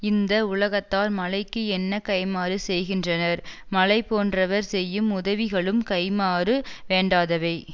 இந்த உலகத்தார் மழைக்கு என்ன கைமாறு செய்கின்றனர் மழை போன்றவர் செய்யும் உதவிகளும் கைமாறு வேண்டாதவை